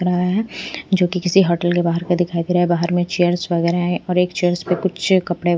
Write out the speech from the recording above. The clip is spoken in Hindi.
लगाया है जो कि किसी होटल के बाहर का दिखाई दे रहा है बाहर में चेयर्स वगैरह हैं और एक चेयर्स पे कुछ कपड़े--